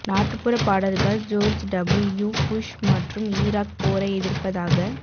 நாட்டுப்புற பாடல்கள் George W Bush மற்றும் ஈராக் போரை எதிர்ப்பதாக